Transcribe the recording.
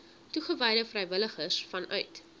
toegewyde vrywilligers vanuit